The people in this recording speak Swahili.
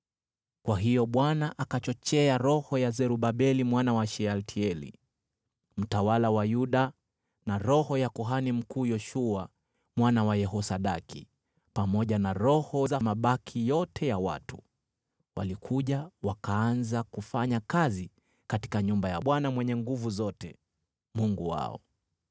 Kwa hiyo Bwana akachochea roho ya Zerubabeli mwana wa Shealtieli, mtawala wa Yuda, na roho ya kuhani mkuu Yoshua mwana wa Yehosadaki, pamoja na roho za mabaki yote ya watu. Walikuja wakaanza kufanya kazi katika nyumba ya Bwana Mwenye Nguvu Zote, Mungu wao,